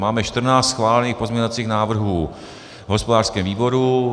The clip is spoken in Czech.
Máme 14 schválených pozměňovacích návrhů v hospodářském výboru.